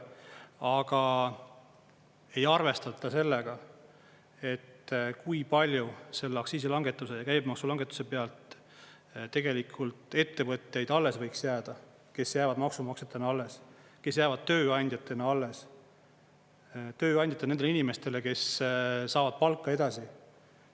Aga ei arvestata sellega, et kui palju selle aktsiisi langetamise ja käibemaksu langetuse pealt tegelikult ettevõtteid alles võiks jääda, kes jäävad maksumaksjatena alles, kes jäävad tööandjatena alles, tööandjate nendele inimestele, kes saavad palka edasi.